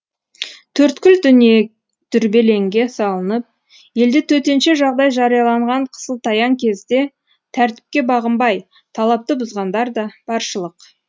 төрткүл дүние дүрбелеңге салынып елде төтенше жағдай жарияланған қысылтаяң кезде тәртіпке бағынбай талапты бұзғандар да баршылық